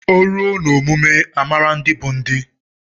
O ruo na omume amara ndị bụ ndị.